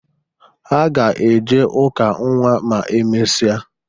Ha ga-eje ụka nnwa ma emesịa.